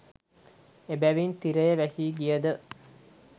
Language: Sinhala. එබැවින් තිරය වැසී ගියද